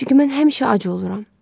Çünki mən həmişə ac oluram.